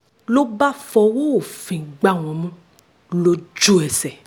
ló bá fọwọ́ òfin gbá wọn mú lójú-ẹsẹ̀